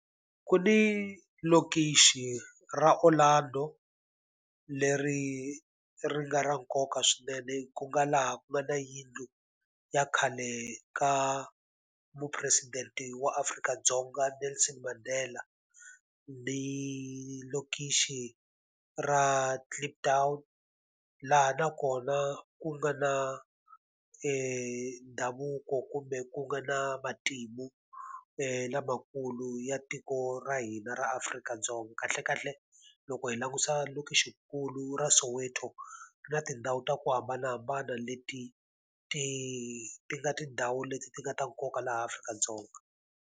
Ku ni lokixi ra Orlando leri ri nga ra nkoka swinene ku nga laha ku nga na yindlu ya khale ka mupresidente wa Afrika-Dzonga Nelson Mandela, ni lokixi ra Kliptown laha nakona ku nga na ndhavuko kumbe ku nga na matimu lamakulu ya tiko ra hina ra Afrika-Dzonga. Kahlekahle loko hi langutisa lokixikulu ra Soweto na tindhawu ta ku hambanahambana leti ti ti nga tindhawu leti ti nga ta nkoka laha Afrika-Dzonga.